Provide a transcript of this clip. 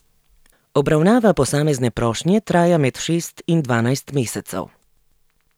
Obravnava posamezne prošnje traja med šest in dvanajst mesecev.